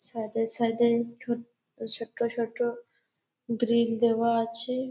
Side -এ side -এ ছুট ছোট ছোট গ্রিল দেওয়া আছে।